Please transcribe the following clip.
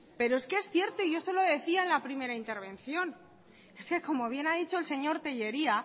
pero es que es cierto y yo eso lo decía en la primera intervención es que como bien ha dicho el señor tellería